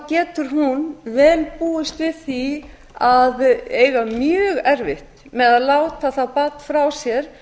getur hún vel búist við því að eiga mjög erfitt með að láta það barn frá sér